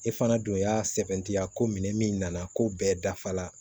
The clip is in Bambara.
E fana don y'a sɛbɛntiya ko minɛ min nana ko bɛɛ dafa la